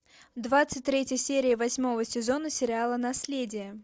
двадцать третья серия восьмого сезона сериала наследие